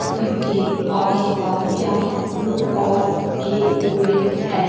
इसके आस-पास चार बुद्ध और रखे हुए हैं।